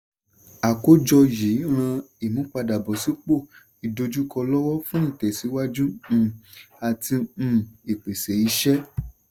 àkójọ yìí ràn ìmúpadàbọ̀sípò ìdojúkọ lọ́wọ́ fún ìtẹ̀síwájú um àti um ìpèsè iṣẹ́.